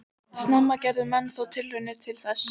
Snemma gerðu menn þó tilraunir til þess.